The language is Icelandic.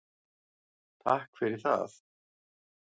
Takk fyrir það.